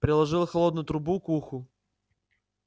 приложил холодную трубку к уху